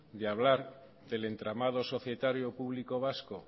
de hablar del entramado societario público vasco